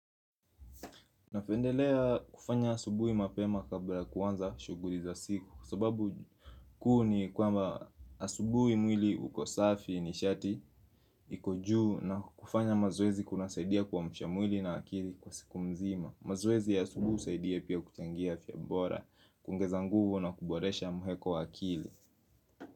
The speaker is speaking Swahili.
Napendelea kufanya asubui mapema kabla kuanza shuguli za siku sababu kuu ni kwamba asubui mwili uko safi ni shati iko juu na kufanya mazoezi kuna saidia kuamsha mwili na akili kwa siku mzima mazoezi ya asubui husaidia pia kuchangia afya bora kuongeza nguvu na kuboresha muheko wa akili.